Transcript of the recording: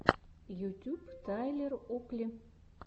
ютьюб тайлер окли